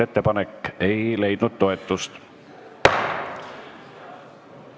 Ettepanek ei leidnud toetust.